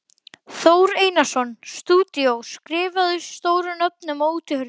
Þór Einarsson, stúdíó, skrifað stórum stöfum á útihurðina.